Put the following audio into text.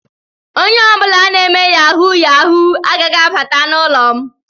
Onye ọ bụla na-eme yahu yahu agaghị abata n'ụlọ m.